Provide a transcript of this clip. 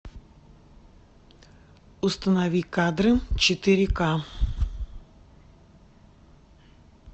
установи кадры четыре ка